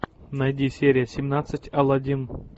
найди серия семнадцать алладин